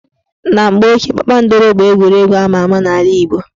Na mgbe ochie, kpakpankoro bụ egwuregwu ama ama n' ala Igbo